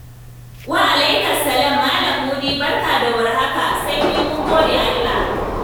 Wa'alaikas salam, Malam Mudi, barka da war haka, sanyi mun gode Allah.